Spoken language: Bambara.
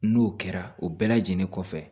N'o kɛra o bɛɛ lajɛlen kɔfɛ